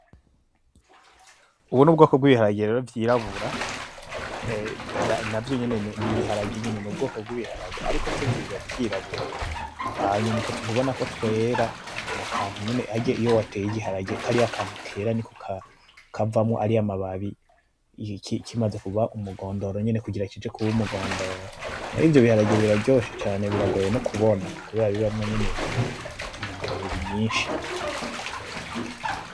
Ubwo nubwoko bwiharage rero vyirabura navyo nyene nibiharage nyene nubwoko bwibiharage, ariko vyo biba vyirabura, hanyuma utwo tuntu ubonako twera nakantu harya nyene iyo wateye igiharage kariya kantu kera niko kavamwo ariya mababi kimaze kuba umugondoro nyene kugira kije kuba umugondoro, ivyo biharage biraryoshe cane biragoye nokubona kubera bibamwo nyene intugamubiri nyishi.